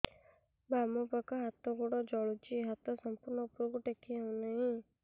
ବାମପାଖ ହାତ ଗୋଡ଼ ଜଳୁଛି ହାତ ସଂପୂର୍ଣ୍ଣ ଉପରକୁ ଟେକି ହେଉନାହିଁ